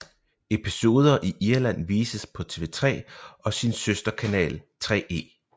Episoder i Irland vises på TV3 og sin søster kanal 3e